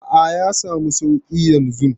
A'a, ya samu suƙi yanzu.